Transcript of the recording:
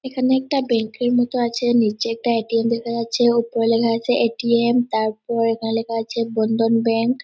এখানে একটা ব্যাংক এর মতো আছে। নিচে একটা এ.টি.এম দেখা যাচ্ছে ওপরে লেখা আছে এ.টি.এম তারপর এখানে লেখা আছে বন্ধন ব্যাঙ্ক ।